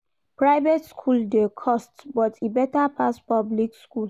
Private skool dey cost but e beta pass public skool.